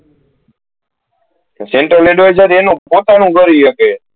central advisor એનું પોતાનુ ગાડી હકે